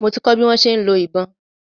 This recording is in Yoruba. Mo ti kọ́ bi wọ́n ṣe ń lo ìbọn.